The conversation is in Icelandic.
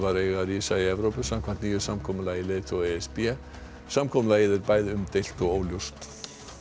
eiga að rísa í Evrópu samkvæmt nýju samkomulagi leiðtoga e s b samkomulagið er bæði umdeilt og óljóst